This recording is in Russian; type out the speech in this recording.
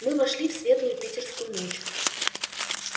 мы вошли в светлую питерскую ночь